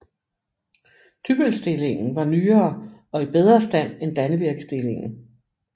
Dybbølstillingen var nyere og i bedre stand end Dannevirkestillingen